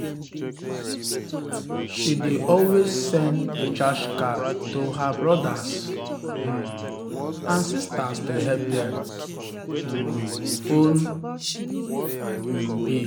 she dey always send recharge card to her brothers um and sisters to help dem um phone um bill.